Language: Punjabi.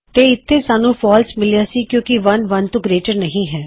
ਤੇ ਇਥੇ ਸਾਨੂੰ ਫਾਲਸ ਮਿਲਿਆ ਸੀ ਕਿਉਂ ਕਿ 1 1 ਤੋਂ ਗਰੇਟਰ ਨਹੀ ਹੈ